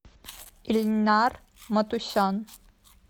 ильнар матусян